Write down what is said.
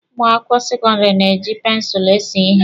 Ụmụ akwụkwọ sekọndịrị na-eji pensụlụ ese ihe.